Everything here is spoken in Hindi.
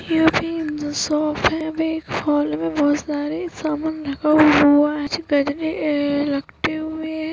यहाँ पे एक शॉप है यहाँ एक मॉल में बहोत सारे सामान रखा हुआ है लटके हुए हैं।